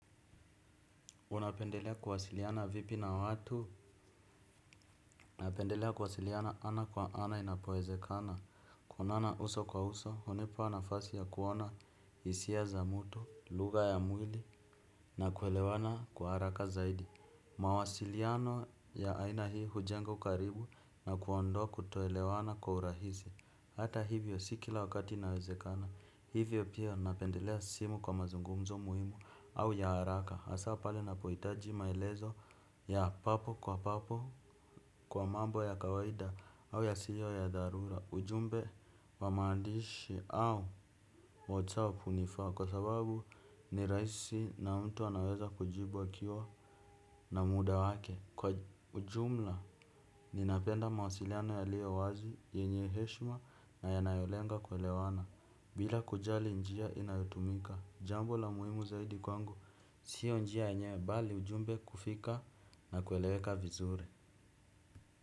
Unapendelea kuwasiliana vipi na watu. Napendelea kuwasiliana ana kwa ana inapowezekana. Kuonana uso kwa uso, hunipa nafasi ya kuona hisia za mtu, lugha ya mwili na kuelewana kwa haraka zaidi. Mawasiliano ya aina hii hujenga ukaribu na kuondoa kutoelewana kwa urahisi. Hata hivyo si kila wakati inawezekana. Hivyo pia napendelea sio kwa mazungumzo muhimu au ya haraka. Hasa pale ninapohitaji maelezo ya papo kwa papo kwa mambo ya kawaida au yasiyo ya dharura. Ujumbe wa maandishi au whatsapp hunifaa kwa sababu ni rahisi na mtu anaweza kujibu akiwa na muda wake. Kwa ujumla ninapenda mawasiliano yaliyo wazi yenye heshima na yanayolenga kuelewana bila kujali njia inayotumika jambo la muhimu zaidi kwangu sio njia yenywe bali ujumbe kufika na kueleweka vizuri.